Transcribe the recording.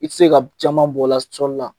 I te se ka b caman bɔ la sɔli la